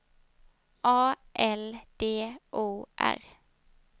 A L D O R